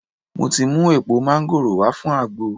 Mo ti mu èèpo máńgòrò wá fun àgbo